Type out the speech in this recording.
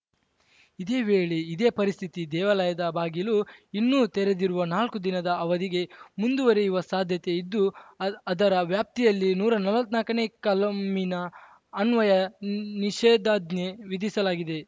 ಇದೇ ವೇಳೆ ಇದೇ ಪರಿಸ್ಥಿತಿ ದೇವಾಲಯದ ಬಾಗಿಲು ಇನ್ನೂ ತೆರೆದಿರುವ ನಾಲ್ಕು ದಿನದ ಅವಧಿಗೆ ಮುಂದುವರಿಯುವ ಸಾಧ್ಯತೆ ಇದ್ದು ಅದ ಅದರ ವ್ಯಾಪ್ತಿಯಲ್ಲಿ ನೂರಾ ನಲ್ವತ್ನಾಲ್ಕನೇ ಕಲಮಿನ ಅನ್ವಯ ನಿ ನಿಷೇಧಾಜ್ಞೆ ವಿಧಿಸಲಾಗಿದೆ